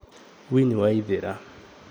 Winnie Waithira